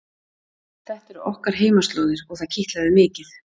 Þetta eru okkar heimaslóðir og það kitlaði mikið.